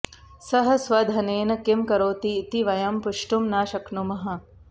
सः स्वधनेन किं करोति इति वयं पृष्टुं न शक्नुमः